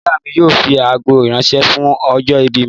Ìyá mi yóò fi àgó ránṣẹ́ fún ọjọ́ ìbí mi